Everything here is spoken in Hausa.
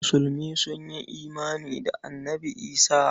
Musulmi sun yi imani da Annabi Isah.